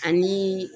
Ani